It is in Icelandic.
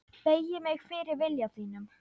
Beygi mig fyrir vilja þínum.